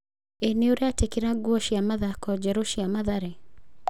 Ĩ nĩũretĩkĩra nguo cĩa mathako njerũ cĩa Mathare?